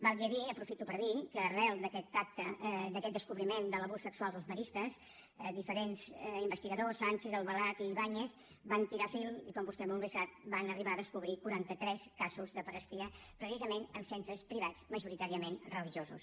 valgui a dir aprofito per dir que arran d’aquest acte d’aquest descobriment de l’abús sexual als maristes diferents investigadors sànchez albalat i ibáñez van estirar el fil i com vostè molt bé sap van arribar a descobrir quaranta tres casos de pederàstia precisament en centres privats majoritàriament religiosos